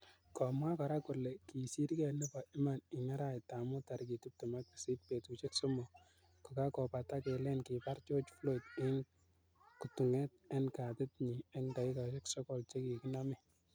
Komwaa kora kole kisirkei nepo iman ing araet ap mut tarik 28 , petushek somok kokakopata kelen kipar George Floyd ing kutunget eng katit nyi eng dakikashek sokol che kikinamee.